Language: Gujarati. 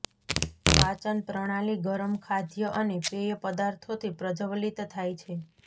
પાચન પ્રણાલી ગરમ ખાદ્ય અને પેય પદાર્થોથી પ્રજ્વલિત થાય છે